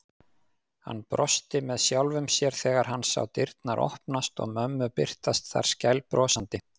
Hann brosti með sjálfum sér þegar hann sá dyrnar opnast og mömmu birtast þar skælbrosandi.